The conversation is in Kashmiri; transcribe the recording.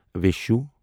وِشُہ